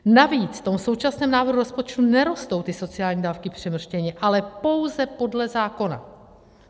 Navíc v tom současném návrhu rozpočtu nerostou ty sociální dávky přemrštěně, ale pouze podle zákona.